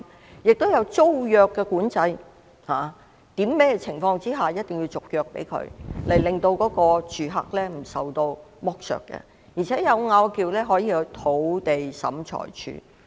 此外，亦設有租約管制，訂明在甚麼情況下必須續約，以免住客受到剝削；而且有爭拗時，可入稟土地審裁處。